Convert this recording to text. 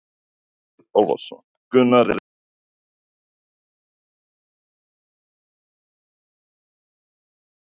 Andri Ólafsson: Gunnar, er eitthvað sem þú vilt segja við aðstandendur Hannesar?